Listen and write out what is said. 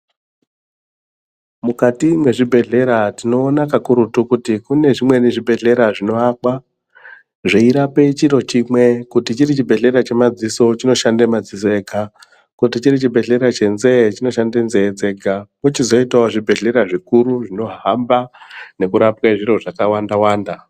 Mukati mezvibhedhlera tinoona kakurutu kuti kune zvibhedhlera zvinovakwa zveirapa chiro chimwe kuti chiri chibhedhlera chemadziso chinoshanda madziso ega kuti chiri chibhedhlera chenzeve chinoshanda nzeve dzega kochizoitawo zvibhedhlera zvikuru zvinohamba nekurapa zviro zvakawanda wanda.